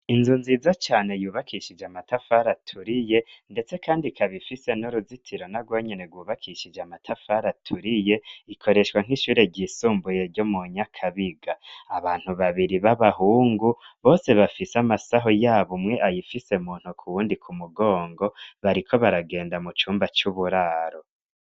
Inzu nziza cane yubakishije amatafari aturiye ndetse kandi ikaba ifise n'uruzitiro narwo nyene rwubakishije amatafari aturiye, ikoreshwa nk'ishure ryisumbuye ryo mu Nyakabiga, abantu babiri b'abahungu bose bafise amasaho yabo umwe ayifise mu ntoki uyundi ku mugongo bariko baragenda mu cumba c'uburaro.